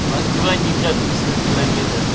москва никак не сто километров